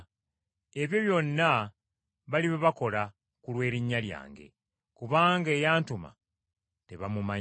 Ebyo byonna balibibakola ku lw’erinnya lyange, kubanga eyantuma tebamumanyi.